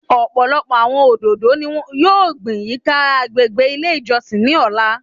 Ọpọlọpọ awọn ododo ni yoo gbin yika agbegbe ile ijọsin ni ọla